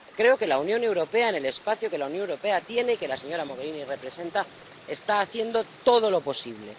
Creo que la Unión Europea, en el espacio que la Unión Europea tiene y que la señora Mogherini representa, está haciendo todo lo posible.